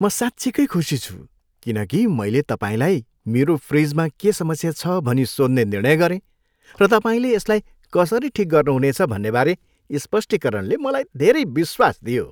म साँच्चिकै खुसी छु, किन कि मैले तपाईँलाई मेरो फ्रिजमा के समस्या छ भनी सोध्ने निर्णय गरेँ , र तपाईँले यसलाई कसरी ठिक गर्नुहुनेछ भन्नेबारे स्पष्टीकरणले मलाई धेरै विश्वास दियो।